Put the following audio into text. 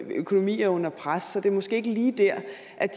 økonomier er under pres så det er måske ikke lige der